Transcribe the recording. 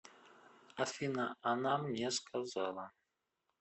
афина она мне сказала